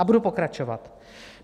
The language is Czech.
A budu pokračovat.